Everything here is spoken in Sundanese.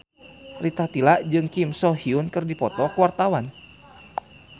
Rita Tila jeung Kim So Hyun keur dipoto ku wartawan